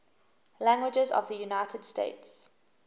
languages of the united states